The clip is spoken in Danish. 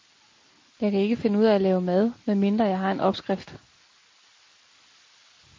Jeg kan ikke finde ud af at lave mad, med mindre jeg har en opskrift.